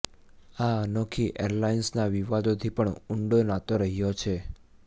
આ અનોખી એઈરલાઈન્સના વિવાદો થી પણ ઊંડો નાતો રહ્યો છે